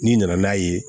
N'i nana n'a ye